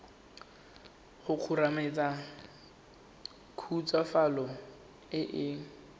go kgomaretsa khutswafatso e e